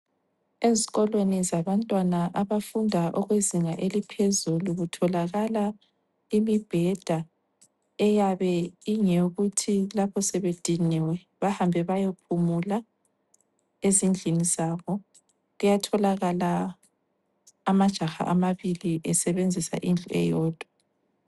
Ezikolweni zabantwana abafunda okwezinga eliphezulu kutholakala imibheda eyabe ingeyokuthi lapho sebediniwe bahambe bayophumula ezindlini zabo. Kuyatholakala amajaha amabili esebenzisa indlu eyodwa.